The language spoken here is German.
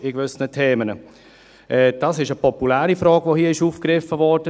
Es ist eine populäre Frage, die hier von Daniel Trüssel aufgegriffen wurde.